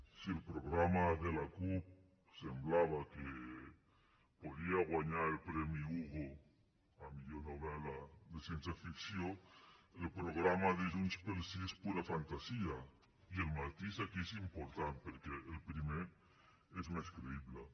si el programa de la cup semblava que podrà guanyar el premi hugo a millor novel·la de ciència ficció el programa de junts pel sí és pura fantasia i el matís aquí és important perquè el primer és més creïble